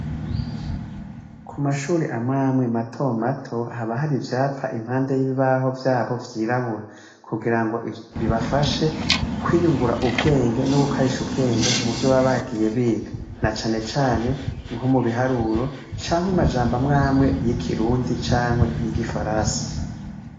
Kumashure amwamwe mato mato, haba har'ivyapa imapande y'ibibaho vyabo vyirabura kugirango bibafashe kwiyungura ubwenge no gukarisha ubwenge muvyo baba bagiye biga, na cane cane nko mubiharuro, cank'amajamb'amwamwe y'ikirundi n' igifaransa.